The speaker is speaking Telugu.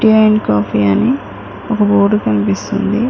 టీ అండ్ కాఫీ అని ఒక బోర్డు కనిపిస్తుంది.